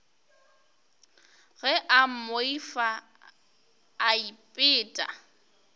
ge a mmoifa a ipeta